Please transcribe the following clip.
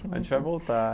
A gente vai voltar.